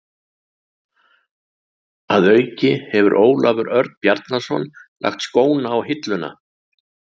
Að auki hefur Ólafur Örn Bjarnason lagt skóna á hilluna.